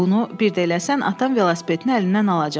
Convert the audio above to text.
Bunu bir də eləsən atan velosipedini əlindən alacaq.